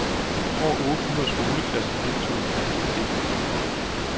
Over ottehundrede skoleklasser deltog i den danske del af konkurrencen.